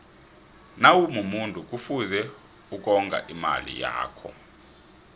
nawumumuntu kufuze ukonga imali yakho